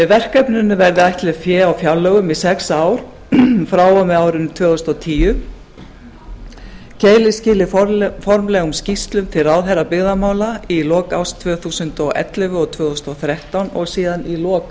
verkefninu verður ætlað fé á fjárlögum frá og með árinu tvö þúsund og tíu keilir skili formlegum skýrslum til ráðherra byggðamála í lok árs tvö þúsund og ellefu og tvö þúsund og þrettán og síðan í lok